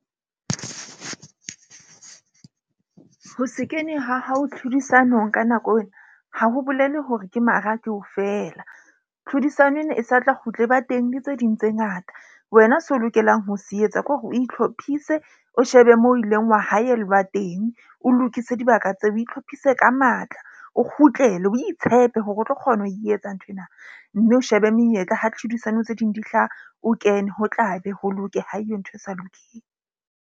Ho se kene, ha hao tlhodisanong ka nako ena, ha ho bolele hore ke mara ke ho feela. Tlhodisano ena e sa tla kgutla e ba teng le tse ding tse ngata. Wena seo o lokelang ho se etsa ke hore o itlhophise, o shebe moo o ileng wa haellwa teng, o lokise dibaka tseo, o itlhophise ka matla, o kgutlele, o itshepe hore o tlo kgona ho e etsa nthwena. Mme o shebe menyetla ha ditlhodisano tse ding di hlaha. O kene ho tlabe ho loke ha eyo ntho e sa lokeng.